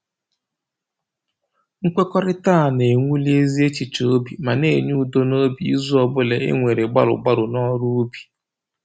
Mkwekọrịta a na-ewuli ezi echiche obi ma na-enye udo n'obi izu ọbụla e nwere gbalụ gbalụ n'ọrụ ubi